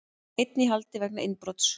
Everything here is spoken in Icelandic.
Einn í haldi vegna innbrots